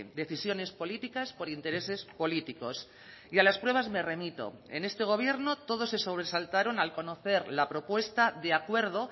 decisiones políticas por intereses políticos y a las pruebas me remito en este gobierno todos se sobresaltaron al conocer la propuesta de acuerdo